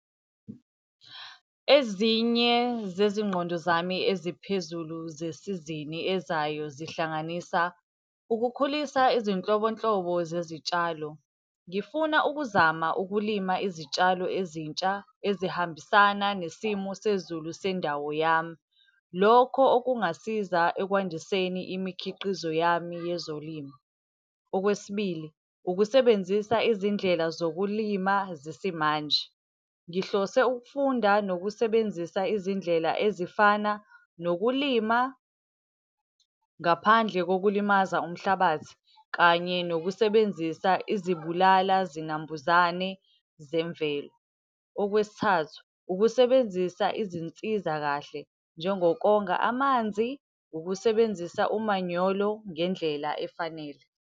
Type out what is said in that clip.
Ezinye zezinqondo zami eziphezulu zesizini ezayo zihlanganisa, ukukhulisa izinhlobonhlobo zezitshalo. Ngifuna ukuzama ukulima izitshalo ezintsha ezihambisana nesimo sezulu sendawo yami. Lokho okungasiza ekwandiseni imikhiqizo yami yezolimo. Okwesibili, ukusebenzisa izindlela zokulima zesimanje. Ngihlose ukufunda nokusebenzisa izindlela ezifana nokulima ngaphandle kokulimaza umhlabathi kanye nokusebenzisa izibulala zinambuzane zemvelo. Okwesithathu, ukusebenzisa izinsizakahle njengokonga amanzi, ukusebenzisa umanyolo ngendlela efanele.